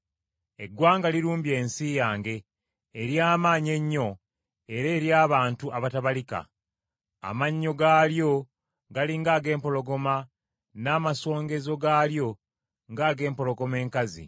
Eggwanga lirumbye ensi yange, ery’amaanyi ennyo era ery’abantu abatabalika. Amannyo gaalyo gali ng’ag’empologoma, n’amasongezo gaalyo ng’ag’empologoma enkazi.